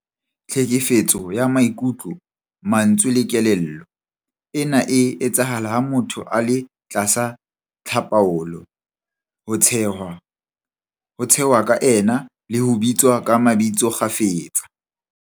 Tlhekefetso ka maikutlo, mantswe le kelello- Ena e etsahala ha motho a le tlasa tlhapaolo, ho tshehwa ka ena le ho bitswa ka mabitso kgafetsa.